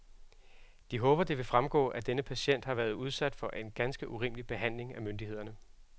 De håber, det vil fremgå, at denne patient har været udsat for en ganske urimelig behandling af myndighederne.